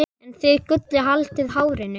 en þið Gulli haldið hárinu.